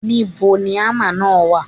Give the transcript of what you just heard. Níbo ni ámà náà wà?